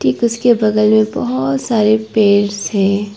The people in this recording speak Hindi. एक इसके बगल में बहुत सारे पेड्स है।